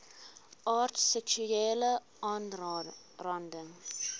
aard seksuele aanranding